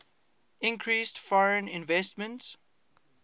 increased foreign investment